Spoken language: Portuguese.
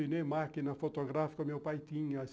E nem máquina fotográfica, meu pai tinha.